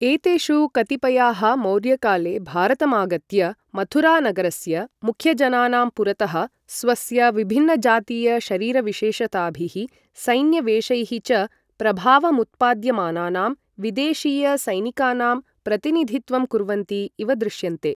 एतेषु कतिपयाः मौर्यकाले भारतमागत्य मथुरानगरस्य मुख्यजनानां पुरतः स्वस्य विभिन्न जातीय शारीरविशेषताभिः, सैन्यवेषैः च प्रभावमुत्पाद्यमानानां विदेशीयसैनिकानाम् प्रतिनिधित्वं कुर्वन्ति इव दृश्यन्ते।